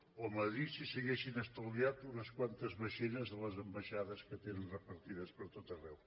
o a madrid si s’haguessin estalviat unes quantes vaixelles a les ambaixades que tenen repartides pertot arreu